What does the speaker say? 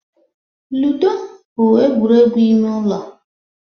Ludo bụ egwuregwu ime ụlọ.